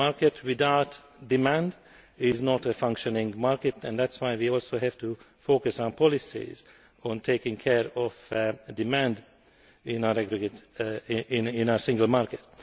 A market without demand is not a functioning market, and that is why we also have to focus our policies on taking care of demand in our single market.